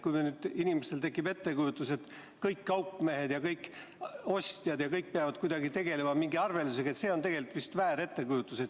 Kui inimestel tekib nüüd ettekujutus, et kõik kaupmehed ja kõik ostjad ja kõik peavad kuidagi tegelema mingi arveldusega, siis see on tegelikult vist väär ettekujutus.